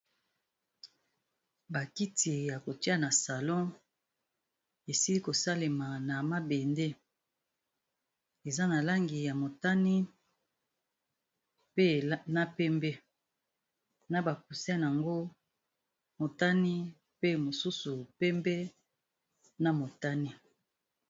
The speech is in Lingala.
Ba kiti ya kotia na salon esili ko salema na mabende. Eza na langi ya motani, pe na pembe, na ba coussin nango motani, pe mosusu pembe, na motani.